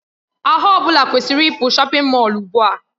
Ahụ ọ bụla kwesịrị ịpụ shọpin Mọll ugbu a!